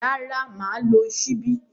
Rárá, mà á lo ṣíbí.